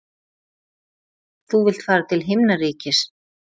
Þú vilt fara til himnaríkis.